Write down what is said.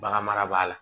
Baganmara b'a la